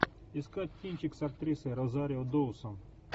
искать кинчик с актрисой розарио доусон